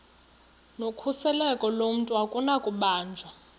nokhuseleko lomntu akunakubanjwa